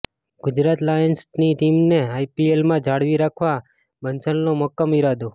ગુજરાત લાયન્સની ટીમને આઇપીએલમાં જાળવી રાખવા બંસલનો મક્કમ ઇરાદો